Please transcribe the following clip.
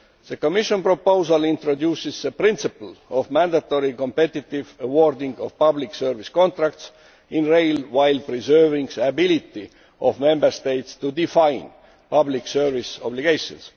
The Commission proposal introduces the principle of mandatory competitive award of public service rail contracts, while preserving the ability of Member States to define public service obligations.